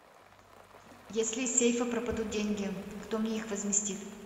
если из сейфа пропадут деньги кто мне их возместит